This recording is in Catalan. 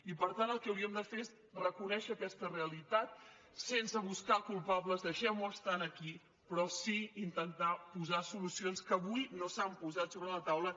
i per tant el que hauríem de fer és reconèixer aquesta realitat sense buscar culpables deixem ho estar aquí però sí intentar posar solucions que avui no s’han posat sobre la taula